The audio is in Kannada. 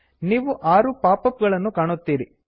ನೀವು ಆರು ಪಾಪ್ ಅಪ್ ಗಳನ್ನು ಕಾಣುತ್ತೀರಿ